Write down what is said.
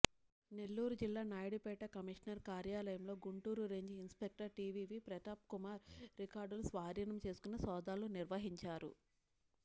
నెల్లూరు జిల్లా నాయుడుపేట కమిషనర్ కార్యాలయంలో Guntur range inspector TVV Pratapkumar రికార్డులు స్వాధీనం చేసుకుని సోదాలు నిర్వహించారు